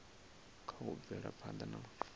kha u bvela phanda na